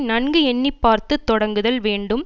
நன்கு எண்ணி பார்த்து தொடங்குதல் வேண்டும்